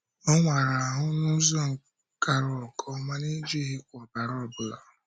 Ọ̀ wàrà ahụ́ ahụ n’ụzọ gara nke ọma—n’ejighịkwa ọbara ọ bụla.